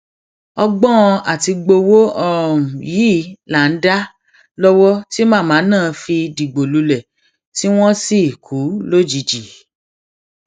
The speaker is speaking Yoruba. ọgbọn àti gbowó um yìí là ń dá lọwọ um tí màmá náà fi dìgbò lulẹ tí wọn sì kú lójijì